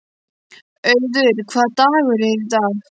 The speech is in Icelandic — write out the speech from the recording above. Auður, hvaða dagur er í dag?